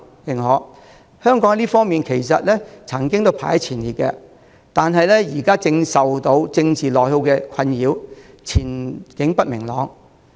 其實，香港在這幾方面也曾排名前列，但現正受政治內耗的困擾，前景不明朗。